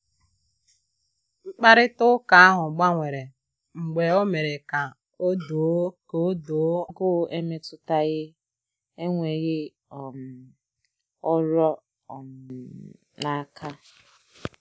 Mkparịta ụka ahụ gbanwere mgbe o mere ka ọ doo ka ọ doo anya na agụụ emetụtaghi enweghị um ọrụ um n'aka.